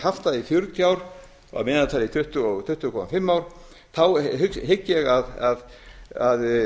haft það í fjörutíu ár að meðaltali tuttugu til tuttugu komma fimm ár þá hygg ég að